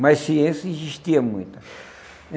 Mas ciência existia muito.